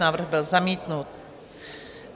Návrh byl zamítnut.